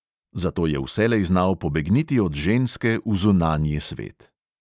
Zato je vselej znal pobegniti od ženske v zunanji svet.